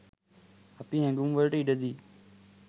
අපි හැඟුම් වලට ඉඩදී